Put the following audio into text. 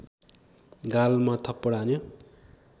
गालमा थप्पड हान्यो